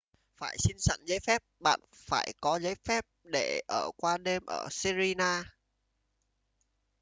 phải xin sẵn giấy phép bạn phải có giấy phép để ở qua đêm ở sirena